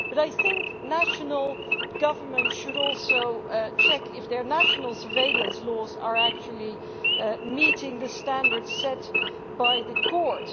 I think national governments should also check if their national surveillance laws actually meet the standards set by the Court.